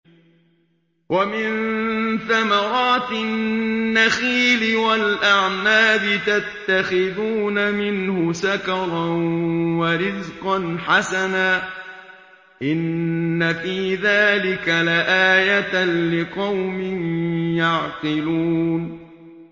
وَمِن ثَمَرَاتِ النَّخِيلِ وَالْأَعْنَابِ تَتَّخِذُونَ مِنْهُ سَكَرًا وَرِزْقًا حَسَنًا ۗ إِنَّ فِي ذَٰلِكَ لَآيَةً لِّقَوْمٍ يَعْقِلُونَ